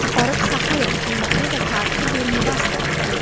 "Aparıb saxlayın, qiymətli və tarixi bir mirasdır" dedi.